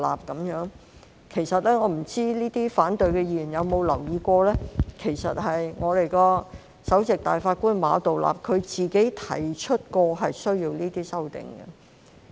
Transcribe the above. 我不知這些反對議案的議員是否有留意，其實，首席大法官馬道立曾提出需要這些修訂。